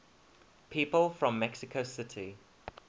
people from mexico city